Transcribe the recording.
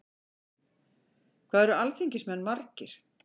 Hvað eru alþingismenn margir?